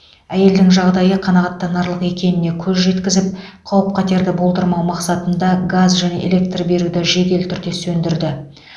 әйелдің жағдайы қанағаттанарлық екеніне көз жеткізіп қауіп қатерді болдырмау мақсатында газ және электр беруді жедел түрде сөндірді